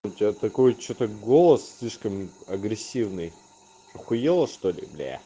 у тебя такой что-то голос слишком агрессивный ахуела что-ли бля